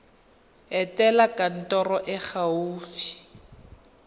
etela kantoro e e gaufi